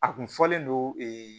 A kun fɔlen don